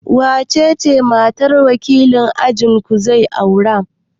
Wace ce matar da wakilin ajinku zai aura?